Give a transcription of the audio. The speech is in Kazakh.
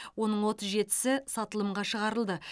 оның отыз жетісі сатылымға шығарылды